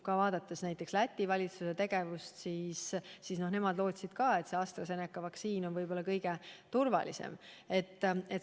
Vaadates näiteks Läti valitsuse tegevust, nemad lootsid ju ka, et AstraZeneca vaktsiin on võib-olla kõige turvalisem.